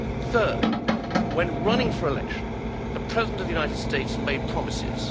Thirdly, when running for election, the President of the United States made promises.